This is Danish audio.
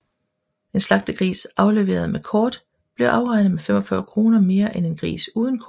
En slagtegris afleveret med kort blev afregnet med 45 kr mere end en gris uden kort